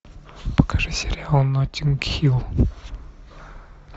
покажи сериал ноттинг хилл